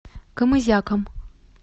камызяком